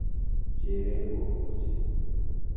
Cherembo ochei.